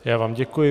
Já vám děkuji.